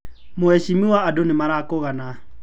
Mũhecimiwa andũ nĩmarakũgana.